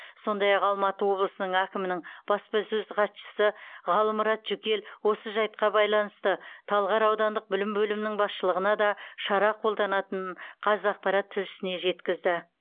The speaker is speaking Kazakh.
сондай ақ алматы облысының әкімінің баспасөз хатшысы ғалымұрат жүкел осы жайтқа байланысты талғар аудандық білім бөлімінің басшылығына да шара қолданылатынын қазақпарат тілшісіне жеткізді